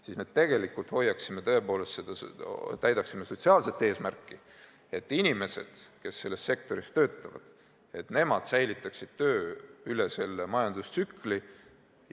Siis me tegelikult täidaksime sotsiaalset eesmärki, et inimesed, kes selles sektoris töötavad, säilitaksid töö selles majandustsükli langusfaasis.